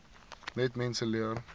net mense leer